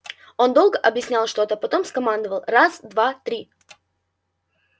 он долго объяснял что-то потом скомандовал раз два три